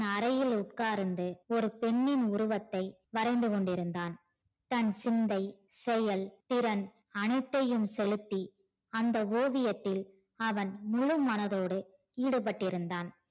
அறையில் உட்கார்ந்து ஒரு பெண்ணின் உருவத்தை வரைந்துகொண்டிருந்தான் தன் சிந்தை செயல் திறன் அனைத்தையும் செலுத்தி அந்த ஓவியத்தில் அவன் முழு மனதொடு ஈடுபட்டு இருந்தான்